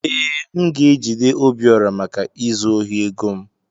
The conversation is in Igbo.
Ee, m ga-ejide Obiora maka izu ohi ego m